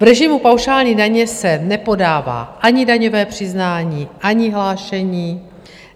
V režimu paušální daně se nepodává ani daňové přiznání, ani hlášení.